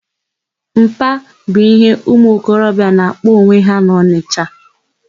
Mpa', bụ íhé ụmụokorobịa na-akpọ onwe ha n'Ọnịsha.